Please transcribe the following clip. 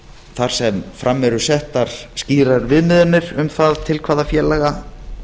þar sem fram eru settar skýrar viðmiðanir um það til hvaða félaga